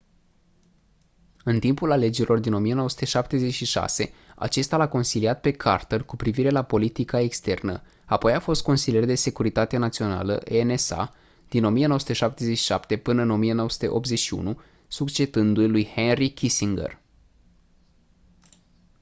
în timpul alegerilor din 1976 acesta l-a consiliat pe carter cu privire la politica externă apoi a fost consilier de securitate națională nsa din 1977 până în 1981 succedându-i lui henry kissinger